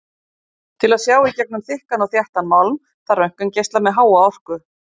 Til að sjá í gegnum þykkan og þéttan málm þarf röntgengeisla með háa orku.